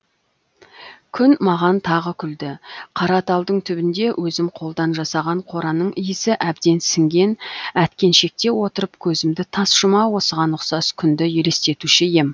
күн маған тағы күлді қара талдың түбінде өзім қолдан жасаған қораның иісі әбден сіңген әткеншекте отырып көзімді тас жұма осыған ұқсас күнді елестетуші ем